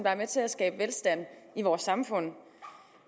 er med til at skabe velstand i vores samfund